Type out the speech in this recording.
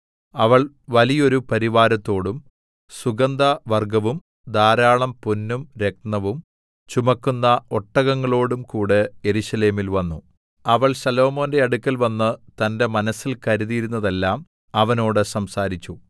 അവൾ വലിയോരു പരിവാരത്തോടും സുഗന്ധവർഗ്ഗവും ധാരാളം പൊന്നും രത്നവും ചുമക്കുന്ന ഒട്ടകങ്ങളോടും കൂടെ യെരൂശലേമിൽ വന്നു അവൾ ശലോമോന്റെ അടുക്കൽവന്ന് തന്റെ മനസ്സിൽ കരുതിയിരുന്നതെല്ലാം അവനോട് സംസാരിച്ചു